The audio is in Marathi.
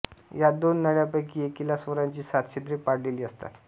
या दोन नळ्यांपैकी एकीला स्वरांची सात छिद्रे पाडलेली असतात